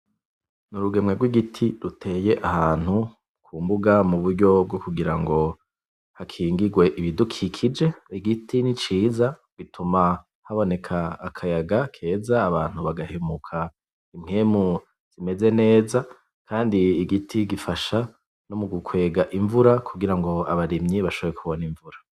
Urugemwe gw'igiti ruteye ahantu kumbuga mu buryo bwo kugira ngo hakingigwe ibidukikije, igiti ni ciza gituma haboneka akayaga keza, abantu bagahemuka impwemu zimeze neza, kandi igiti gifasha no mu gukwega imvura kugira ngo abarimye bashobore kubona imvura.